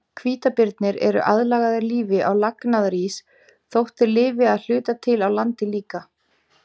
Hvítabirnir eru aðlagaðir lífi á lagnaðarís þótt þeir lifi að hluta til á landi líka.